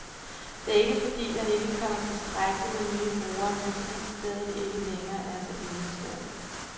Det er ikke, fordi der ikke kommer tilstrækkeligt med nye brugere, men fordi stedet ikke længere er så enestående.